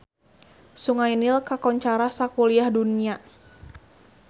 Sungai Nil kakoncara sakuliah dunya